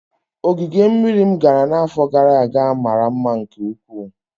Ogige mmiri m gara n'afọ gara aga mara mma nke ukwuu